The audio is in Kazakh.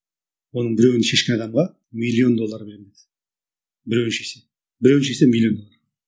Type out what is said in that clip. оның біреуін шешкен адамға миллион доллар беремін деді біреуін шешсе біреуін шешсе миллион